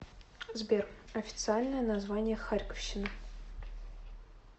сбер официальное название харьковщина